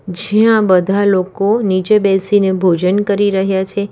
જ્યાં બધા લોકો નીચે બેસીને ભોજન કરી રહ્યા છે.